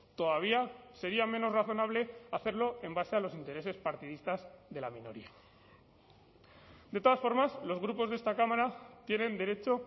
todavía sería menos razonable hacerlo en base a los intereses partidistas de la minoría de todas formas los grupos de esta cámara tienen derecho